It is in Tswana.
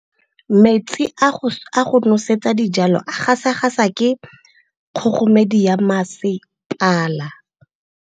Metsi a go nosetsa dijalo a gasa gasa ke kgogomedi ya masepala.